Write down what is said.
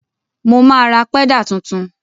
Mo máa ra pẹ́dà tuntun.